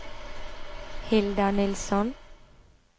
Hilda Nilsson